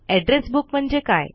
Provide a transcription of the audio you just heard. address book म्हणजे काय